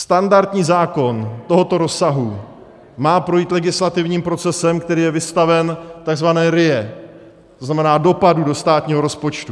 Standardní zákon tohoto rozsahu má projít legislativním procesem, který je vystaven takzvané RIA, to znamená dopadů do státního rozpočtu.